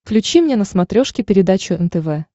включи мне на смотрешке передачу нтв